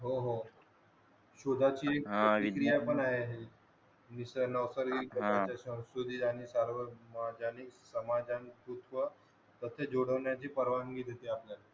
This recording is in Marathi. हो हो फक्त जुडवण्या ची परवानगी देते असं